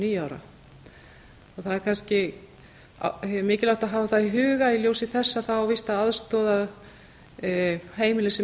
níu ára það er kannski mikilvægt að hafa það í huga í ljósi þess að það á víst að aðstoða heimili sem